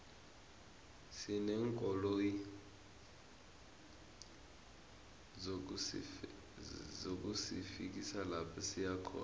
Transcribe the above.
sineenkoloyi zokusifikisa lapha siyakhona